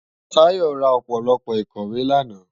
Tayo rá ópólópó ikòwé làná